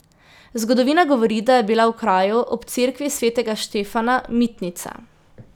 Zgodovina govori, da je bila v kraju, ob cerkvi svetega Štefana, mitnica.